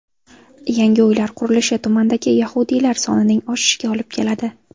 Yangi uylar qurilishi tumandagi yahudiylar sonining oshishiga olib keladi.